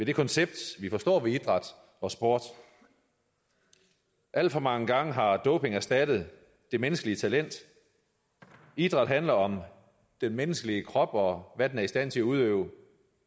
det koncept vi forstår ved idræt og sport alt for mange gange har doping erstattet det menneskelige talent idræt handler om den menneskelige krop og hvad den er i stand til at udøve